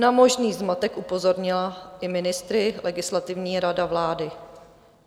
Na možný zmatek upozornila i ministry Legislativní rada vlády.